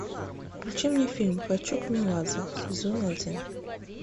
включи мне фильм хочу к меладзе сезон один